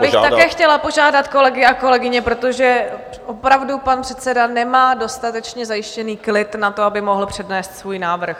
Já bych také chtěla požádat kolegy a kolegyně, protože opravdu pan předseda nemá dostatečně zajištěný klid na to, aby mohl přednést svůj návrh.